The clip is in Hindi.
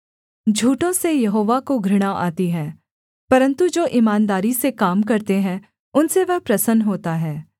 झूठों से यहोवा को घृणा आती है परन्तु जो ईमानदारी से काम करते हैं उनसे वह प्रसन्न होता है